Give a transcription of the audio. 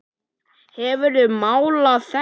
Hefurðu málað þetta?